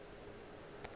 yoo a bego a mo